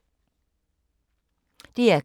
DR K